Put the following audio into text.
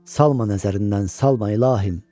Salma nəzərindən, salma ilahim.